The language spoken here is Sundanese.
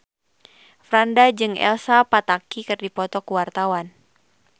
Franda jeung Elsa Pataky keur dipoto ku wartawan